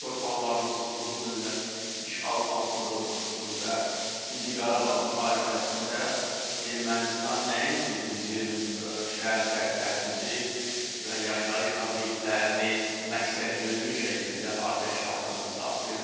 Bizim torpaqlarımız uzun illər işğal altında olmuşdur və ikinci Qarabağ müharibəsində Ermənistan nəinki bizim şəhər kəndlərimizi və yaşayış obyektlərini məqsədyönlü şəkildə atəş altında saxlayırdı.